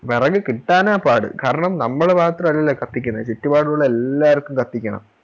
വെറക് കിട്ടാനാ പാട് കാരണം നമ്മള് മാത്രല്ലല്ലോ ഈ കത്തിക്കുന്നേ ചുറ്റുപാടുള്ള എല്ലാർക്കും കത്തിക്കണം